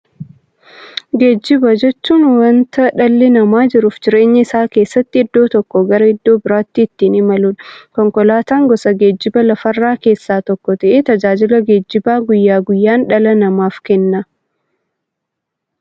Geejjiba jechuun wanta dhalli namaa jiruuf jireenya isaa keessatti iddoo tokkoo gara iddoo birootti ittiin imaluudha. Konkolaatan gosa geejjibaa lafarraa keessaa tokko ta'ee, tajaajila geejjibaa guyyaa guyyaan dhala namaaf kenna.